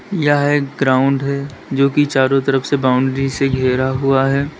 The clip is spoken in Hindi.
यह एक ग्राउंड है जो कि चारों तरफ से बाउंड्री से घिरा हुआ है।